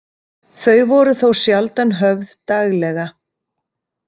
Þau voru þó sjaldan höfð daglega.